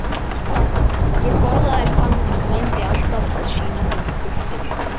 Ég forðaðist hann, en reyndi alltaf að sýna honum kurteisi.